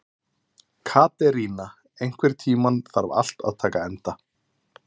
Katerína, einhvern tímann þarf allt að taka enda.